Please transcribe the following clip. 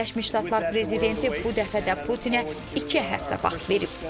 Birləşmiş Ştatlar prezidenti bu dəfə də Putinə iki həftə vaxt verib.